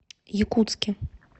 якутске